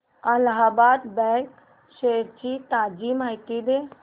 Allahabad bank shares ची ताजी माहिती दे